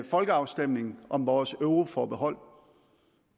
folkeafstemning om vores euroforbehold på